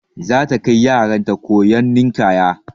Za ta kai yaran ta koyon ninƙaya.